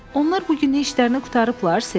Onlar bu gün işlərini qurtarıblar, Ser.